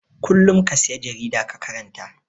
Kullum ka sayi jarida ka karanta.